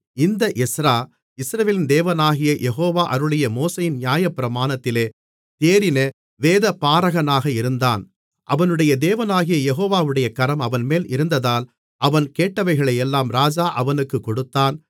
இந்த எஸ்றா இஸ்ரவேலின் தேவனாகிய யெகோவா அருளிய மோசேயின் நியாயப்பிரமாணத்திலே தேறின வேதபாரகனாக இருந்தான் அவனுடைய தேவனாகிய யெகோவாவுடைய கரம் அவன்மேல் இருந்ததால் அவன் கேட்டவைகளையெல்லாம் ராஜா அவனுக்குக் கொடுத்தான்